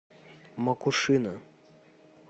макушино